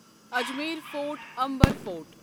Amer Fort Amber fort